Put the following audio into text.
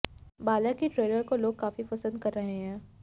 बाला की ट्रेलर काे लोग काफी पसंद कर रहे हैं